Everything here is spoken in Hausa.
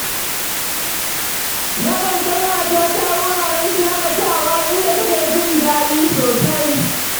Nakan kai matata wuraren shaƙatawa, inda take jin daɗi sosai.